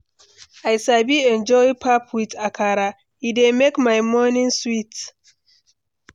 I sabi enjoy pap with akara; e dey make my morning sweet.